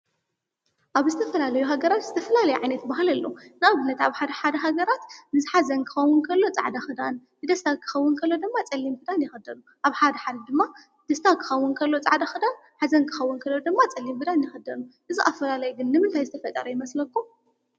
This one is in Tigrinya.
ኣብ ዝተፋላለዩ ሃገራት ዝተፈላለየ ዓይነት ባህሊ ኣሎ ። ንኣብነት ኣብ ሓደ ሓደ ሃገራት ንሓዘን ክኸዉን ከሎ ፃዕዳ ኽዳን ንደስታ ክኸዉን ከሎ ድማ ፀሊም ኽዳን ይኽደኑ። ኣብ ሓደ ሓደ ድማ ደስታ ክኸውን ከሎ ፀዕዳ ኽዳን ሓዘን ክኸውን ከሎ ድማ ፀሊም ኽዳን ይኽደኑ። እዚ ኣፋላላይ ግን ንምንታይ ዝተፈጠረ ይመስለኩም?